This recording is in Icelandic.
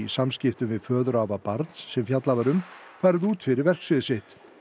samskiptum við föðurafa barns sem fjallað var um farið út fyrir verksvið sitt